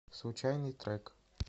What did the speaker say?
случайный трек